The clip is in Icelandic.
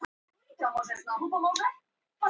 Að dusta rykið af einhverju